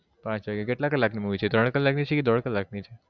પાંચ વાગ્યે કેટલા કલાક ની Movie છે ત્રણ કલાક ની છે કે દોઢ કલાક ની છે?